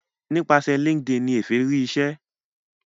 nípasẹ linkedin ní Efe rí ìṣe